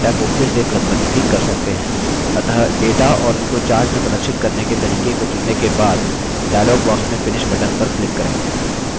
अतः data और उसको chart में प्रदर्शित करने के तरीके को चुनने के बाद dialog box में finish button पर click करें